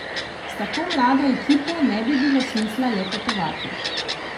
S tako mlado ekipo ne bi bilo smisla le potovati.